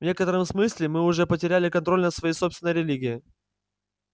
в некотором смысле мы уже потеряли контроль над своей собственной религией